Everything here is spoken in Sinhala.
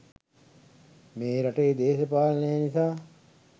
මේ රටේ දේශපාලනේ නිසා